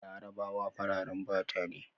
Larabawa fararen fata ne